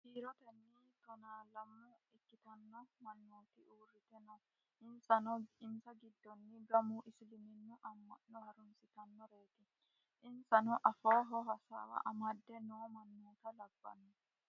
Kiiroteni tonaa lamme ikkitanno mannotti uritte noo innisa giddono gamu isiliminnu ama'nno harrunisitanoreti inisanno afooho hassawa amadde noo mannota labbano